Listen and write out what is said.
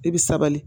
I bi sabali